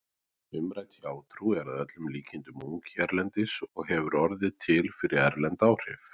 Umrædd hjátrú er að öllum líkindum ung hérlendis og hefur orðið til fyrir erlend áhrif.